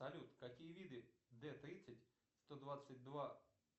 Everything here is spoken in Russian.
салют какие виды д тридцать сто двадцать два